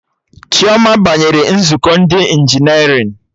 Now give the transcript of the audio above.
Chioma banyere nzukọ ndị injinerịn